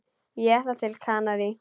Ég ætla til Kanarí.